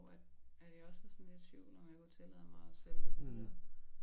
Hvor at at jeg også var sådan lidt i tvivl om jeg kunne tillade mig at sælge det videre